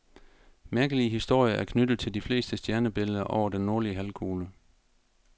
Mærkelige historier er knyttet til de fleste stjernebilleder over den nordlige halvkugle.